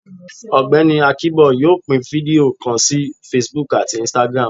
Ọgbẹni Akinbo yóò pín fidio kán sorí Facebook atí Instagram